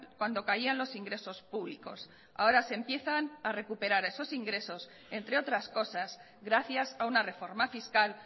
cuando caían los ingresos públicos ahora se empiezan a recuperar esos ingresos entre otras cosas gracias a una reforma fiscal